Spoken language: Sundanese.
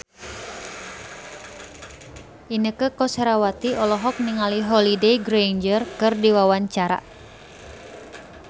Inneke Koesherawati olohok ningali Holliday Grainger keur diwawancara